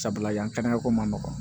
Sabula yan ko man nɔgɔn